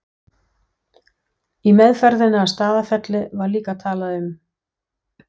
Í meðferðinni á Staðarfelli var líka talað um